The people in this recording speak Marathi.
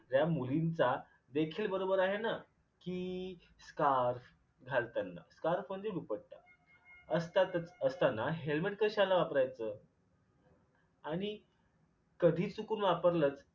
त्या मुलींचा देखील बरोबर आहे ना कि स्कार्फ घालताना scarf म्हणजे दुपट्टा असतातच असताना helmet कशाला वापरयच? आणि कधी चुकून वापरलच